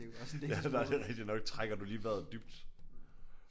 Ja det er det er rigtigt nok. Trækker du lige vejret dybt?